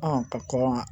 ka kɔn